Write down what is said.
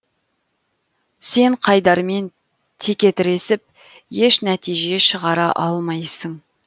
сен қайдармен текетіресіп еш нәтиже шығара алмайсың